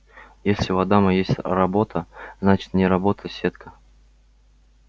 если у адама есть работа значит не работа сетка